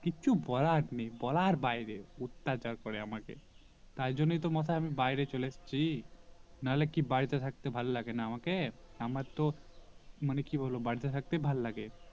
কিছু বলার নেই বলার বাইরে অত্যাচার করে আমাকে তাই জন্য তো মোতে আমি বাইরে চলে এসেছি নাহলে কি আমাকে বাড়িতে থাকতে ভালো লাগেনা আমাকে আমার তো মানে কি বলবো বাড়িতে থাকতেই ভালো লাগে